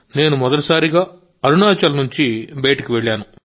నేను మొదటిసారి అరుణాచల్ నుండి బయటికి వెళ్ళాను